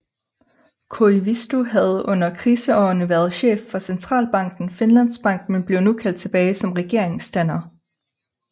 Koivisto havde under kriseårene været chef for centralbanken Finlands Bank men blev nu kaldt tilbage som regeringsdanner